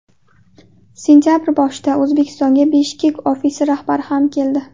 Sentabr boshida O‘zbekistonga Bishkek ofisi rahbari ham keldi.